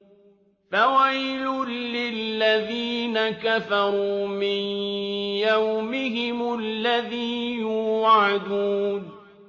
فَوَيْلٌ لِّلَّذِينَ كَفَرُوا مِن يَوْمِهِمُ الَّذِي يُوعَدُونَ